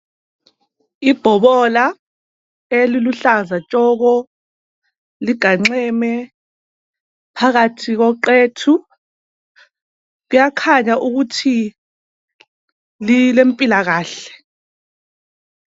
Ibhobola eluhlaza tshoko liganxeme phakathi koqethu. Kuyakhanya ukuthi lilempilakahle.